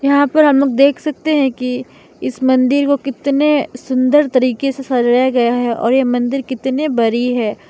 यहां पर हम लोग देख सकते हैं कि इस मंदिर को कितने सुंदर तरीके से सजाया गया है और यह मंदिर कितने बरी है।